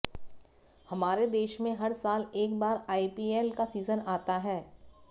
हमारे देश में हर साल एक बार आईपीएल का सीजन आता है